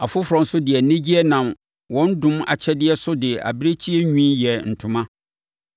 Afoforɔ nso de anigyeɛ nam wɔn dom akyɛdeɛ so de abirekyie nwi yɛɛ ntoma.